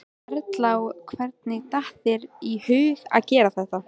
Erla: Og hvernig datt þér í hug að gera þetta?